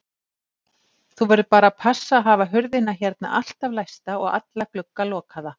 Þú verður bara að passa að hafa hurðina hérna alltaf læsta og alla glugga lokaða.